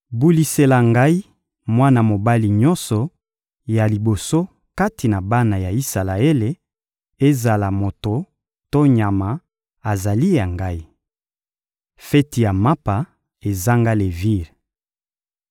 «Bulisela Ngai mwana mobali nyonso ya liboso kati na bana ya Isalaele; ezala moto to nyama, azali ya Ngai.» Feti ya mapa ezanga levire